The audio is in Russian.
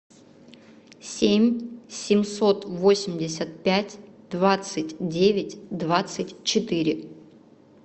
семь семьсот восемьдесят пять двадцать девять двадцать четыре